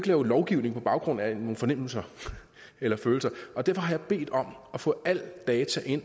lave lovgivning på baggrund af nogle fornemmelser eller følelser og derfor har jeg bedt om at få alle de data